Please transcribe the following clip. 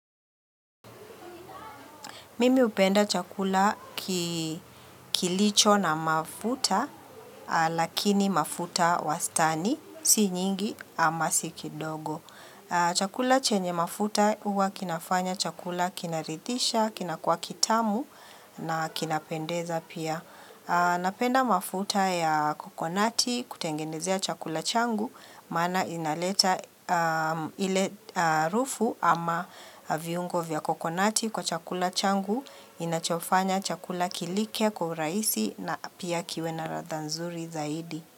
Mimi upenda chakula kilicho na mafuta, lakini mafuta wastani, si nyingi ama siki dogo. Chakula chenye mafuta uwa kinafanya, chakula kinarithisha, kinakuwa kitamu na kinapendeza pia. Napenda mafuta ya kokonati kutengenezea chakula changu maana inaleta ile harufu ama viungo vya kokonati kwa chakula changu inachofanya chakula kilike kwa uraisi na pia kiwe na radha nzuri zaidi.